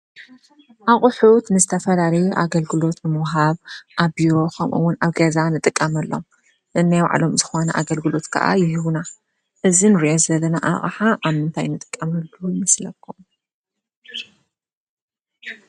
ኣቁሑት ንእተፈላለዩ ኣገልግሎት ንምሃብ ኣብ ቢሮ ከምኡ እውን ኣብ ገዛ ንጥቀመሎም ።ነናይ ባዕሎም ዝኮነ ኣገልግሎት ከዓ ይህቡና እዚ ንሪኦ ዘለና ኣቕሓ ኣብ ምንታይ ንጥቀመሉ ይመስለኩም ?